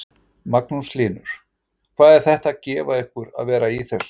Magnús Hlynur: Og hvað er þetta að gefa ykkur að vera í þessu?